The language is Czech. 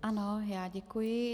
Ano, já děkuji.